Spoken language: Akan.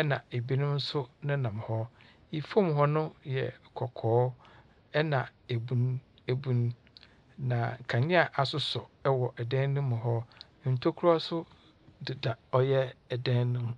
ɛna ebinom nso nenam hɔ. Efom hɔ no yɛ kɔkɔɔ ɛna ebun ebun. Na kanea asosɔ ɛwɔ ɛdan ne mu hɔ, ntokura so deda ɔyɛ ɛdan nemu.